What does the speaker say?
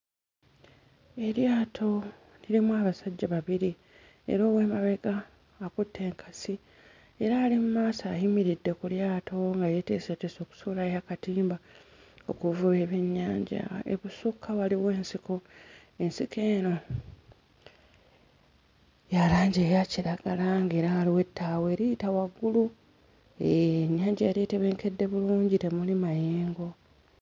Eryato lirimu abasajja babiri era ow'emabega akutte enkasi era ali mmaaso ayimiridde ku lyato nga yeeteeseteese okusuulayo akatimba okuvuba ebyennyanja ebusukka waliwo ensiko ensiko eno ya langi eya kiragala ng'era waliwo ettaawo eriyita waggulu eee nnyanja yali etebenkedde bulungi temuli mayengo.